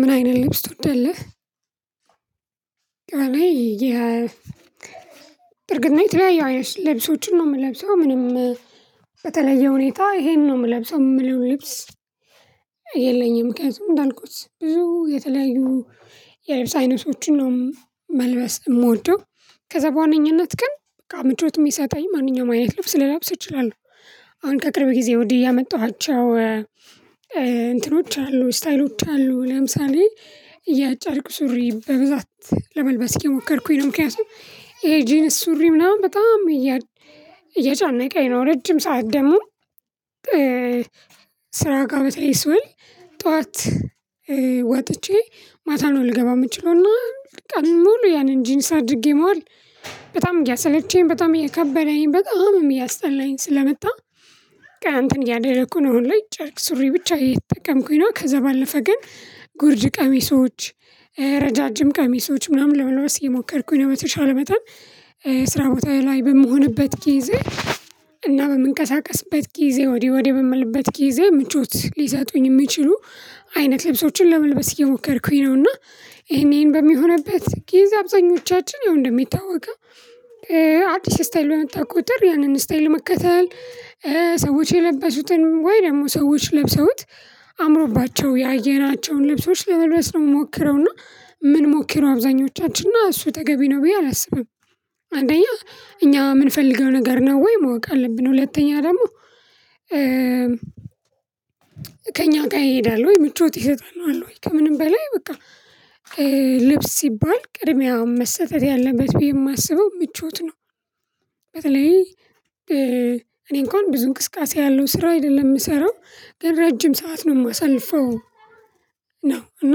ምን አይነት ልብስ ትወዳለህ? እኔ ይሄ እርግና ነው የተለያየው ልብሶችን ነው የምለብሰው ምንም በተለየ ሁኔታ ይሄንን ነው የምለብሰው የምለው ልብስ የለኝም። ምክንያቱም እንዳልኩት ብዙ የተለያዩ የልብስ አይነቶችን ነው መልበስ የምወደው ከዛ በዋነኝነት ግን ምቾት የሚሰጠኝ ማንኛውም አይነት ልብስ ልላብስ እችላለሁ። አሁን ከቅርብ ጊዜ ወዲህ ያመጣኋቸው እንትኖች አሉ ስታይሎች አሉ ለምሳሌ። የጨርቅ ሱሪ በብዛት ለመልበስ እየሞከርኩኝ ነው ምክንያቱም ይሄ ጂንስ ሱሪ ምናምን በጣም እያጫነቀኝ ነው። ረጅም ሰዓት ደግሞ ስራ ጋር በተለይ ስሆል ጠዋት ወጥቼ ማታ ነው ልገባ የምችለው። እና ቀን ሙሉ ያንን ጂንስ አድርጌ መዋል በጣም እያሰለቸኝ በጣም እየከበደኝ በጣም እያስጠላኝ ስለመጣ። ቃንትን እያደረኩ ነው አሁን ላይ ጨርቅ ሱሪ ብቻ እየተጠቀምኩኝ ነው። ከዛ ባለፈ ግን ጉርጅ ቀሚሶች ረዣዥም ቀሚሶች ምናምን ለመልበስ እየሞከርኩኝ ነው። በተቻለ በጣም ስራ ቦታዬ ላይ በምሆንበት ጊዜ እና በምንቀሳቀስበት ጊዜ ወዲህ ወዲህ በምልበት ጊዜ ምቾት ሊሰጡኝ የሚችሉ አይነት ልብሶችን ለመልበስ እየሞከርኩኝ ነውና። ይሄን ይሄን በሚሆንበት ጊዜ አብዛኞቻችን ይውእንደሚታወቀ አዲስ ስታይል በመጣ ቁጥር ያንን ስታይል መከተል ሰዎች የለበሱትን ወይ ደግሞ ሰዎች ለብሰውት አምሮባቸው ያየናቸውን ልብሶች ለመልበስ ነው የምንሞክረው። እና ምን ሞክረው አብዛኞቻችን እና እሱ ተገቢ ነው ብዬ አላስብም። አንደኛ እኛ የምንፈልገው ነገር ነው ወይ ማወቅ አለብን። ሁለተኛ ደግሞ ከእኛ ጋር ይሄዳል ወይ ምቾት ይሰጥሃል ወይ ከምንም በላይ በቃ ልብስ ሲባል ቅድሚያ መሰጠት ያለበት ብዬ የማስበው ምቾት ነው። በተለይ እኔ እንኳን ብዙ እንቅስቃሴ ያለው ስራ አይደለም የምሰራው ግን ረጅም ሰዓት ነው የማሳልፈው። ነው እና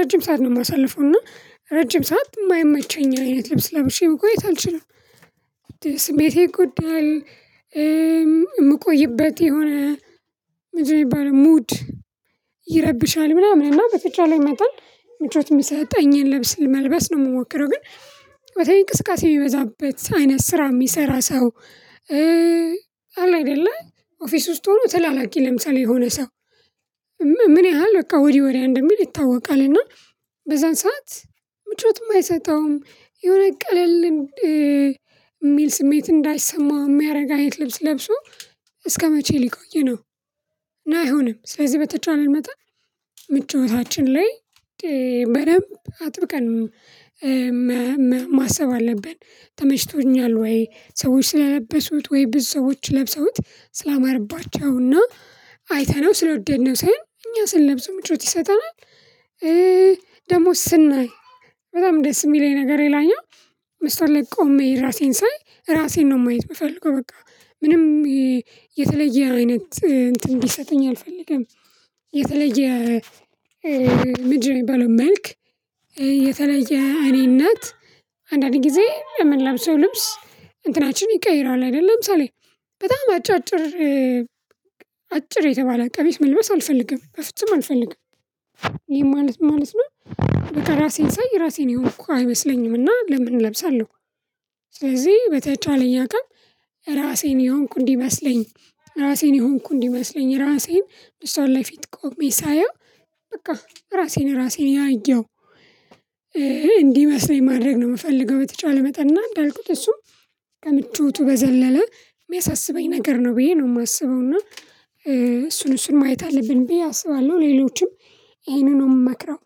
ረጅም ሰዓት ነው የማሳልፈው እና ረጅም ሰዓት የማይመቸኝ አይነት ልብስ ለብሼ መቆየት አልችልም። ስሜቴን ይጎዳል። የምቆይበት የሆነ ምንድነው የሚባለው ሙድ ይረብሻል ምናምን እና በተቻለ መጠን ምቾት የሚሰጠኝን ልብስ መልበስ ነው የምሞክረው። ግን በተለይ እንቅስቃሴ የሚበዛበት አይነት ስራ የሚሰራ ሰው። አለ አይደለ ኦፊስ ውስጥ ሆኖ ተላላኪ ለምሳሌ የሆነ ሰው ምን ያህል በቃ ወዲህ ወዲያ እንደሚል ይታወቃል። እና በዛን ሰዓት ምቾት የማይሰጠውም የሆነ ቀለል የሚል ስሜት እንዳይሰማው የሚያደርግ አይነት ልብስ ለብሶ እስከመቼ ሊቆይ ነው። እና አይሆንም ስለዚህ በተቻለ መጠን ምቾታችን ላይ በደንብ አጥብቀን ማሰብ አለብን። ተመሽቶኛል ወይ ሰዎች ስለለበሱት ወይ ብዙ ሰዎች ለብሰውት ስላማረባቸውና አይተነው ስለወደድነው ሳይሆን እኛ ስንለብሰው ምቾት ይሰጠናል። ደሞ ስናይ በጣም ደስ የሚለኝ ነገር ይላኛል። መስታዎት ላይ ቆሜ ራሴን ሳይ ራሴን ነው ማየት የምፈልገው። በቃ ምንም የተለየ አይነት እንትን እንዲሰጠኝ አልፈልግም። የተለየ ምድር የሚባለው መልክ የተለየ እኔነት። አንዳንዴ ጊዜ ለምንለብሰው ልብስ እንትናችን ይቀይረዋል አይደለም። ለምሳሌ በጣም አጫጭር አጭር የተባለ ቀሚስ መልበስ አልፈልግም በፍጹም አልፈልግም። ይሄ ማለት ማለት ነው። በቃ ራሴን ሳይ ራሴን የሆንኩ አይመስለኝም እና ለምን እለብሳለሁ። ስለዚህ በተቻለኝ አካባቢ ራሴን የሆንኩ እንዲመስለኝ ራሴን የሆንኩ እንዲመስለኝ ራሴን መስታወት ላይ ፊት ቆሜ ሳየው በቃ ራሴን ራሴን ያየው እንዲመስለኝ ማድረግ ነው የምፈልገው። በተቻለ መጠን እና እንዳልኩት እሱ ከምቾቱ በዘለለ የሚያሳስበኝ ነገር ነው ብዬ ነው የማስበው። እና እሱን እሱን ማየት አለብኝ ብዬ አስባለሁ። ሌሎችም ይሄንን ነው የምመክረው።